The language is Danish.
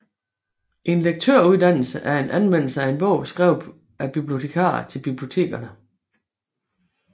En lektørudtalelse er en anmeldelse af en bog skrevet af bibliotekarer til bibliotekerne